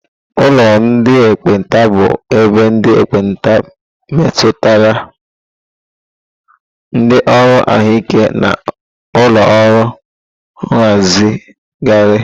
Ụlọ ndị ekpenta bụ ebe ndị ekpenta metụtara, ndị ọrụ ahụike na ụlọ ọrụ nhazigharị.